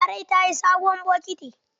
Larai ta siyi sabuwar bokiti.